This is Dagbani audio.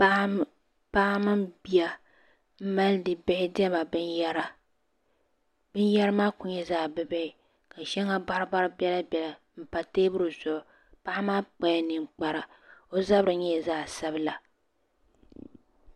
Paɣa mini bia n milindi bihi dɛma bin yara bin yara maa ku nyɛla zaɣi bi bihi ka sheŋa baribari bela bela n PA teebuli zuɣu paɣa maa kpala ninkpara o zabiri nyela zaɣi sabila